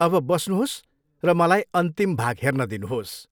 अब बस्नुहोस् र मलाई अन्तिम भाग हेर्न दिनुहोस्।